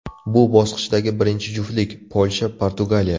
Bu bosqichdagi birinchi juftlik: Polsha Portugaliya.